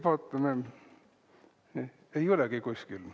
Vaatame, ei olegi kuskil.